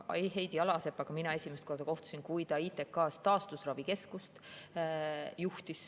Heidi Alasepaga kohtusin mina esimest korda siis, kui ta juhtis ITK‑s taastusravikeskust.